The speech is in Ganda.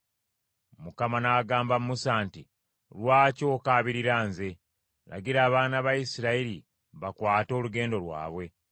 Mukama n’agamba Musa nti, “Lwaki okaabirira nze? Lagira abaana ba Isirayiri bakwate olugendo lwabwe.